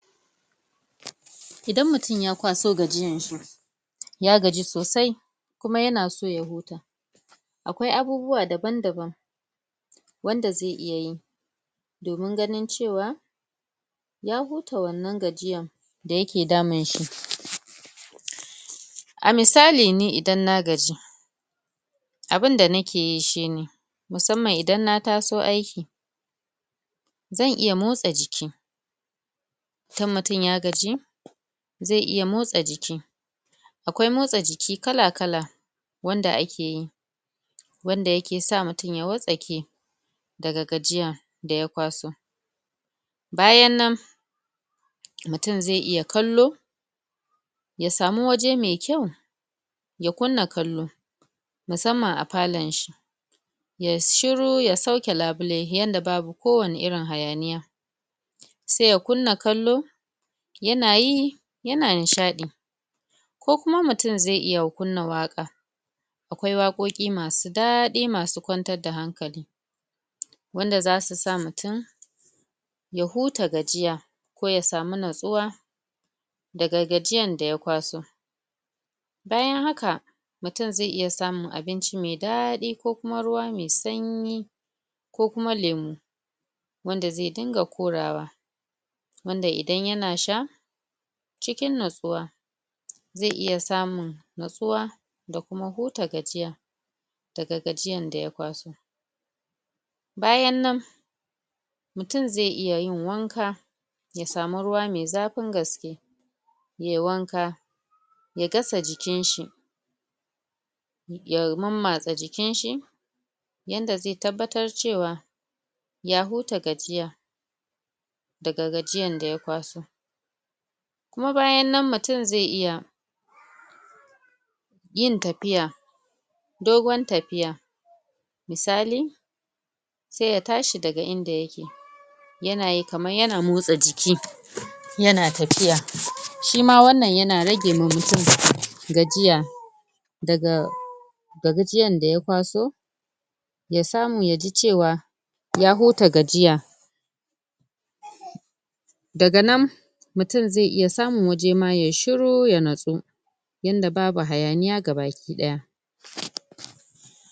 Idan mutum ya kwaso gajiyan shi ya gaji sosai kuma yana so ya huta akwai abubuwa daban daban wanda zai iya yi domin ganin cewa ya huta wannan gajiyan da yake damun shi a misali mi idan na gaji abunda nake yi shine musamman idan na taso aiki zan iya motsa jiki kan mutum ya gaji zai iya motsa jiki akwai motsa jiki kala kala wanda ake yi wanda yake sa mutum ya wattsake daga gajiya da ya kwaso bayan nan mutum zai iya kallo ya samu waje mai kyau ya kunna kallo musamman a falon shi yayi shiru ya sauke labule yanda babu ko wani irin hayaniya sai ya kunna kallo yana yi yana nishaɗi ko kuma mutum zai iya kunna waƙa akwai waƙoƙi masu daɗi wasu kwantar da hankali wanda zasu sa mutum ya huta gajiya ko ya samu natsuwa daga gajiyan da ya kwaso bayan haka mutum zai iya samun abinci mai daɗi ko kuma ruwa mai sanyi ko kuma lemu wanda zai dunga korawa wanda idan yana sha cikin natsuwa zai iya samun natsuwa da kuma huta gajiya daga gajiyan da ya kwaso bayan nan mutum zai iya yin wanka ya samu ruwa mai zafin gaske yayi wanka ya gasa jikinshi ya mammatsa jikinshi yanda zai tabbatar cewa ya huta gajiya daga gajiyan da ya kwaso kuma bayan nan mutum zai iya yin tafiya dogon tafiya misali Sai ya tashi daga inda yake yana yi kaman yana motsa jiki yana tafiya shima wannan yana rage ma mutum gajiya daga gajiyan da ya kwaso ya samu ya ji cewa ya huta gajiya daga nan Mutum zai iya samun waje ma yayi shiru ya natsu yanda babu hayaniya gabaki ɗaya